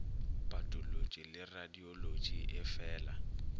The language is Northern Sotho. patolotši le radiolotši e feela